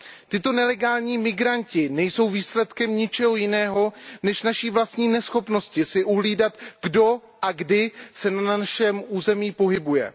Tito nelegální migranti nejsou výsledkem ničeho jiného než naší vlastní neschopnosti si uhlídat, kdo a kdy se na našem území pohybuje.